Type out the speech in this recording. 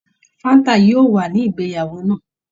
Fáńt yóò wà ní ìgbéyàwó náà.